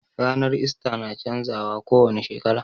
Ranar ista na canza wa ko wani shekara